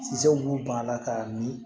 Sisan u b'u ban a la k'a mi